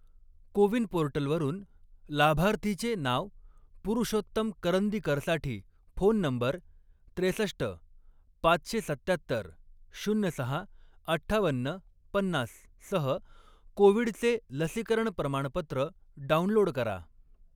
को विन पोर्टलवरून लाभार्थीचे नाव पुरुषोत्तम करंदीकरसाठी फोन नंबर त्रेसष्ट, पाचशे सत्त्यात्तर, शून्य सहा, अठ्ठावन्न, पन्नास सह कोविडचे लसीकरण प्रमाणपत्र डाउनलोड करा.